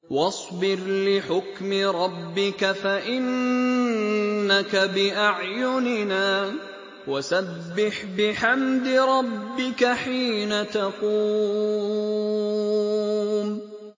وَاصْبِرْ لِحُكْمِ رَبِّكَ فَإِنَّكَ بِأَعْيُنِنَا ۖ وَسَبِّحْ بِحَمْدِ رَبِّكَ حِينَ تَقُومُ